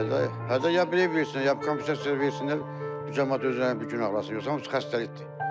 Hə hə ya bir ev versinlər, ya kompensasiya versinlər, bu camaat özlərini bir günahlasınlar, yoxsa bu xəstəlikdir.